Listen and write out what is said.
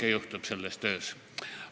Nii et selles töös juhtub kõike.